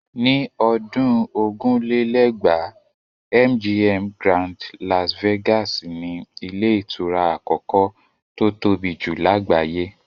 Ní ọdún ogún lé lẹ́gbàá́ MGM Grand Las Vegas ni ilé ìtura àkọ́kọ́ tó tóbi jù lágbàáyé.